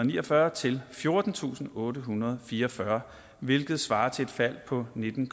niogfyrre til fjortentusinde og ottehundrede og fireogfyrre hvilket svarer til et fald på nitten